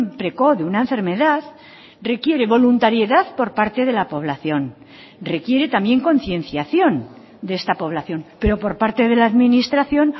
precoz de una enfermedad requiere voluntariedad por parte de la población requiere también concienciación de esta población pero por parte de la administración